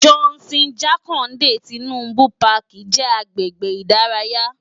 Johnson Jakande Tinubu Pàkí jè agbègbé idàráyá